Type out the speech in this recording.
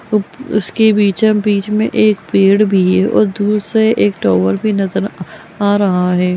उसके पीछे बिचम बीच में एक पेड़ भी है और दूर से एक टावर भी नजर अ आ रहा है।